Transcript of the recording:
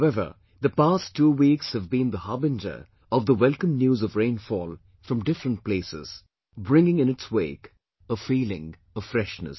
However, the past two weeks have been the harbinger of the welcome news of rainfall from different places, bringing in its wake a feeling of freshness